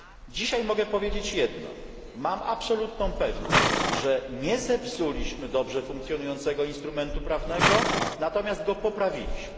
Dzisiaj mogę powiedzieć jedno mam absolutną pewność, że nie zepsuliśmy dobrze funkcjonującego instrumentu prawnego, lecz go poprawiliśmy.